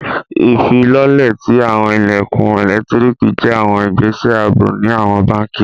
Ifilọlẹ̀ ti awọn ilẹ̀kun ẹ̀lẹ́ktríkì jẹ̀ awọn ìgbẹ̀sẹ̀ àabò ni awọn bánkì.